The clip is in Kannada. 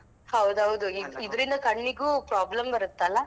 ಹೌದೌದು ಇದ್ರಿಂದ ಕಣ್ಣಿಗೂ problem ಬರುತ್ತಲ್ಲ.